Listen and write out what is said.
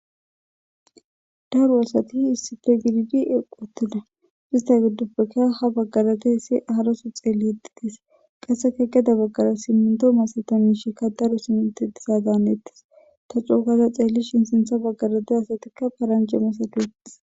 daru asati issite gididi eqoteda ista giddoppekka ha baggarate hessi aaraso xeelli yitides qasseka geda baggara simmundo masata miishikka daru simite disadanettis ta cuukaza xeelli shin sintha baggarate asatikka paranje masateetes